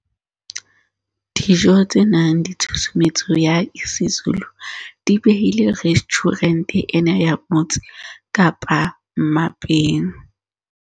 Dijo tse nang le tshusumetso ya isiZulu di behile restjhurente ena ya Motse Kapa mmapeng